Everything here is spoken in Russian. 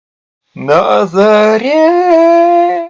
на заре